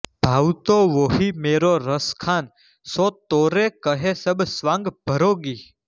ભાવતો વોહિ મેરો રસખાન સો તોરે કહે સબ સ્વાઁગ ભરૌંગી